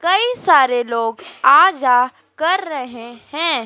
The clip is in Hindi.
कई सारे लोग आ जा कर रहें हैं।